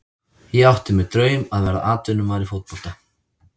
Ég átti mér draum að verða atvinnumaður í fótbolta.